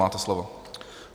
Máte slovo.